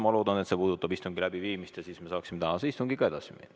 Ma loodan, et see puudutab istungi läbiviimist ja siis me saaksime tänase istungiga edasi minna.